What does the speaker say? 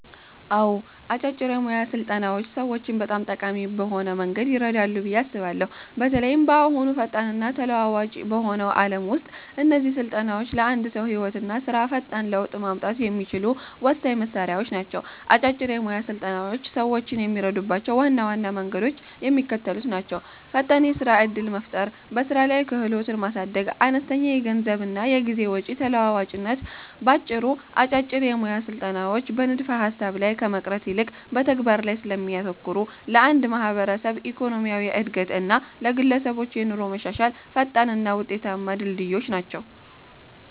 አዎ፣ አጫጭር የሞያ ስልጠናዎች ሰዎችን በጣም ጠቃሚ በሆነ መንገድ ይረዳሉ ብዬ አስባለሁ። በተለይም በአሁኑ ፈጣንና ተለዋዋጭ በሆነው ዓለም ውስጥ እነዚህ ስልጠናዎች ለአንድ ሰው ህይወትና ስራ ፈጣን ለውጥ ማምጣት የሚችሉ ወሳኝ መሣሪያዎች ናቸው። አጫጭር የሞያ ስልጠናዎች ሰዎችን የሚረዱባቸው ዋና ዋና መንገዶች የሚከተሉት ናቸው፦ ፈጣን የስራ ዕድል መፍጠር በስራ ላይ ክህሎትን ማሳደግ አነስተኛ የገንዘብና የጊዜ ወጪ ተለዋዋጭነት ባጭሩ፦ አጫጭር የሞያ ስልጠናዎች በንድፈ-ሐሳብ ላይ ከመቅረት ይልቅ በተግባር ላይ ስለሚያተኩሩ፣ ለአንድ ማህበረሰብ ኢኮኖሚያዊ ዕድገት እና ለግለሰቦች የኑሮ መሻሻል ፈጣንና ውጤታማ ድልድዮች ናቸው።